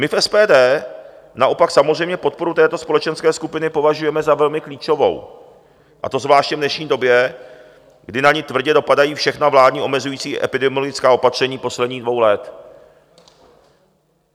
My v SPD naopak samozřejmě podporu této společenské skupiny považujeme za velmi klíčovou, a to zvláště v dnešní době, kdy na ni tvrdě dopadají všechna vládní omezující epidemiologická opatření posledních dvou let.